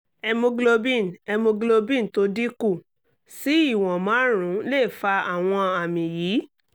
hemoglobin hemoglobin tó dínkù sí ìwọ̀n márùn-ún lè fa àwọn àmì yìí